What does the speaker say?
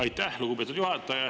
Aitäh, lugupeetud juhataja!